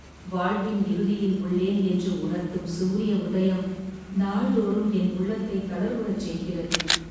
வாழ்வின் இறுதியில் உள்ளேன் என்று உணர்த்தும் சூரிய உதயம் நாள்தோறும் என் உள்ளத்தை தளர்வுறச் செய்கிறது.